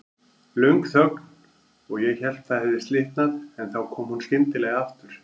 Löng þögn og ég hélt það hefði slitnað, en þá kom hún skyndilega aftur.